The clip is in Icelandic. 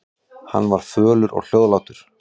Hann var fölur og hljóðlátur.